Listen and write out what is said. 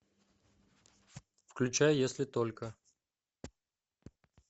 включай если только